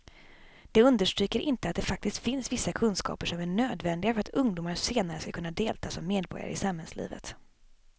De understryker inte att det faktiskt finns vissa kunskaper som är nödvändiga för att ungdomar senare ska kunna delta som medborgare i samhällslivet.